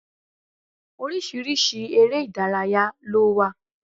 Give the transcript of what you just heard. Orísirísi eré Ìdárayá ló wà